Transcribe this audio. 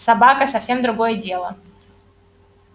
собака совсем другое дело